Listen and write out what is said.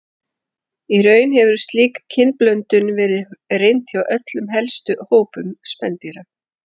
Í raun hefur slík kynblöndun verið reynd hjá öllum helstu hópum spendýra.